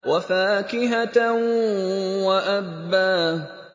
وَفَاكِهَةً وَأَبًّا